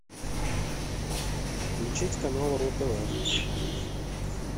включить канал ру тв